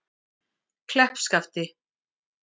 Kleppskafti